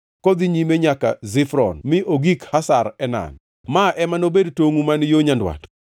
kodhi nyime nyaka Zifron mi ogik Hazar Enan. Ma ema nobed tongʼu man yo nyandwat.